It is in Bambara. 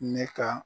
Ne ka